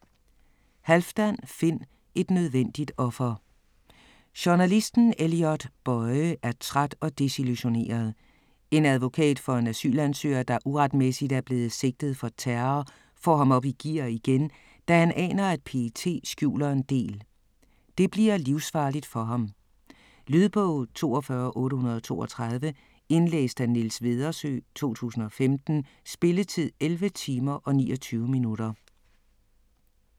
Halfdan, Finn: Et nødvendigt offer Journalisten Elliot Boye er træt og desillusioneret. En advokat for en asylansøger, der uretmæssigt er blevet sigtet for terror, får ham op i gear igen, da han aner, at PET skjuler en del. Det bliver livsfarligt for ham. Lydbog 42832 Indlæst af Niels Vedersø, 2015. Spilletid: 11 timer, 29 minutter.